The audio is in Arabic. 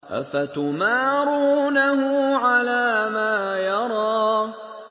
أَفَتُمَارُونَهُ عَلَىٰ مَا يَرَىٰ